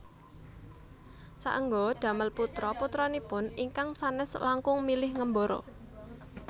Saéngga damel putra putranipun ingkang sanes langkung milih ngembara